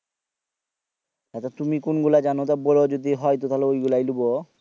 হ্যাঁ তুমি কোন গীলা যেন তা বোলো যদি হয় তো তাহলে ওই গিলাই দেবো